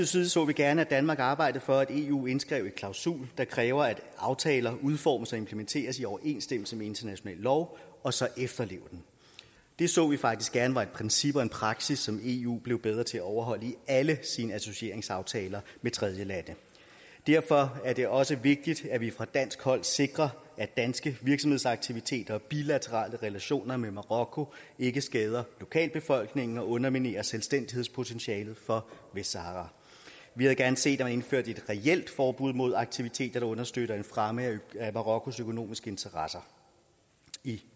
side så vi gerne at danmark arbejdede for at eu indskrev en klausul der kræver at aftaler udformes og implementeres i overensstemmelse med international lov og så efterleves det så vi faktisk gerne var et princip og en praksis som eu blev bedre til at overholde i alle sine associeringsaftaler med tredjelande derfor er det også vigtigt at vi fra dansk hold sikrer at danske virksomhedsaktiviteter og bilaterale relationer med marokko ikke skader lokalbefolkningen og underminerer selvstændighedspotentialet for vestsahara vi havde gerne set at blevet indført et reelt forbud mod aktiviteter der understøtter en fremme af marokkos økonomiske interesser i